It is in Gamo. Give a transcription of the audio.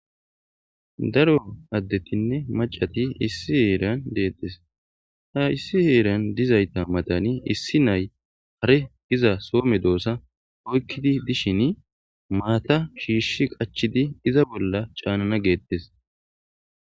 daro addetinne macati issi heeran deettes ha issi heeran dizayta madani issi nay hare diza soome doosa oykkidi dishin maata shiishi qachidi iza bolla caanana geettes